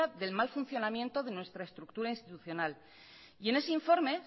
del mal funcionamiento de nuestra estructura institucional y en ese informe